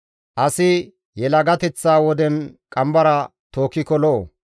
Asi yelagateththa woden qambara tookkiko lo7o.